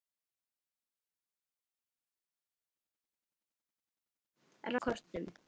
ratað eftir skiltum og kortum